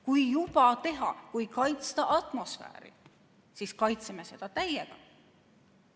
Kui juba teha, kui kaitsta atmosfääri, siis kaitseme seda täiega.